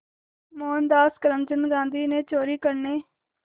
मोहनदास करमचंद गांधी ने चोरी करने